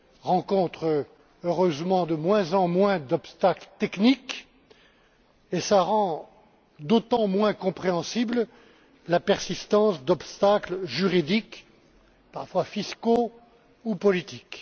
rencontre heureusement de moins en moins d'obstacles techniques et cela rend d'autant moins compréhensible la persistance d'obstacles juridiques, parfois fiscaux ou politiques.